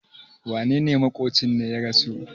wanene maƙocin ne ya rasu?